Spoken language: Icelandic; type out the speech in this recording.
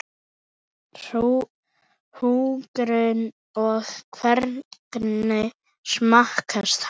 Hugrún: Og hvernig smakkast hann?